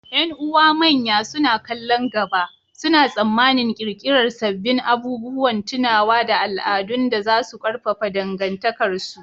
Ƴan’uwa manya, suna kallon gaba, suna tsammanin ƙirƙirar sabbin abubuwan tunawa da al’adun da za su ƙarfafa dangantakarsu.